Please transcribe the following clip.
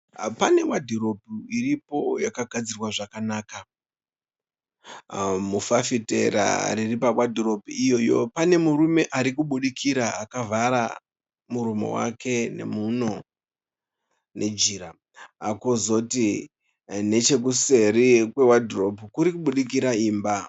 Pane wadhiropu iripo yakagadzirwa zvakanaka. Mufafitera riri pawadhiropu iyoyo pane murume arikubudikira akavhara muromo wake nemhuno nejira, kozoti nechekuseri kwewadhiropu kuri kubudikira imba